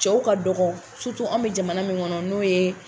Cɛw ka dɔgɔ anw me jamana min kɔnɔ n'o ye